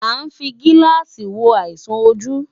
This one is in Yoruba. À ń fi gíláàsì wo àìsàn ojú.